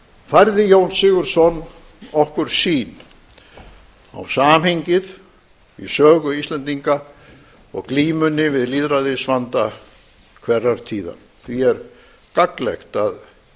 færði jón sigurðsson okkur sýn á samhengið í sögu íslendinga og glímunni við lýðræðisvanda hverrar tíðar því er gagnlegt að